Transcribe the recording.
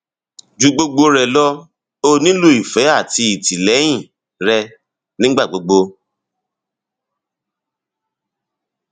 ju gbogbo rẹ lọ ó nílò ìfẹ àti ìtìlẹyìn rẹ nígbà gbogbo